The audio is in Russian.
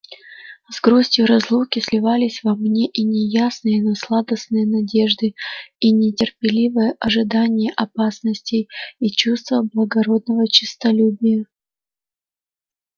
с грустию разлуки сливались во мне и неясные но сладостные надежды и нетерпеливое ожидание опасностей и чувства благородного честолюбия